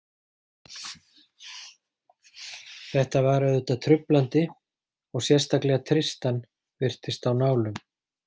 Þetta var auðvitað truflandi og sérstaklega Tristan virtist á nálum.